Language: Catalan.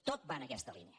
tot va en aquesta línia